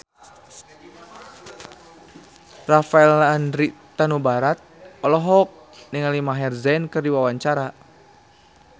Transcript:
Rafael Landry Tanubrata olohok ningali Maher Zein keur diwawancara